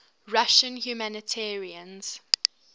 russian humanitarians